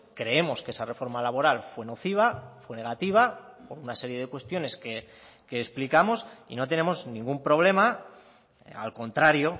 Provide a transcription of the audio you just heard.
creemos que esa reforma laboral fue nociva fue negativa por una serie de cuestiones que explicamos y no tenemos ningún problema al contrario